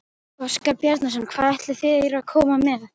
Óskar Bjarnason: Hvað ætla þeir að koma með?